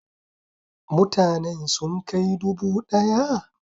Mutanen sun kai dubu daya?